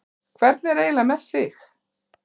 Hvernig er eiginlega með þig?